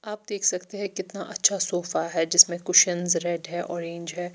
आप देख सकते है कितना अच्छा सोफ़ा है जिसमे कुशन्स रेड है ऑरेंज है।